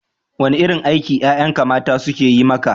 Wane irin aiki ƴaƴanka mata suke yi maka?